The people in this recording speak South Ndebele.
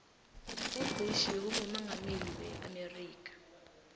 ubush bekungumongameli we amerika